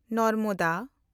Narmada